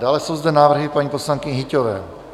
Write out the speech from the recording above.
Dále jsou zde návrhy paní poslankyně Hyťhové.